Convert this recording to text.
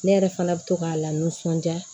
Ne yɛrɛ fana bɛ to k'a lanisɔndiya